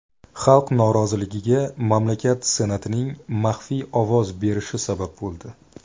Xalq noroziligiga mamlakat senatining maxfiy ovoz berishi sabab bo‘ldi.